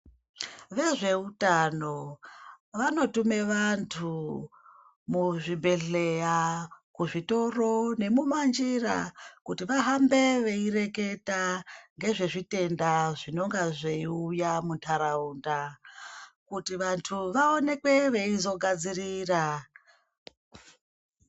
Vezveutano vanotume vantu muzvibhedhleya, kuzvitoro nemumanjira kuti vahambe veireketa ngezvezvitenda zvinonga zveiuya muntaraunda. Kuti vantu vaonekwe veizogadzirira.